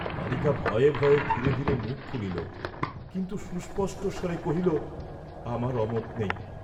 বালিকা ভয়ে ভয়ে ধীরে ধীরে মুখ খুলিল, কিন্তু সুস্পষ্ট স্বরে কহিল, আমার অমত নেই।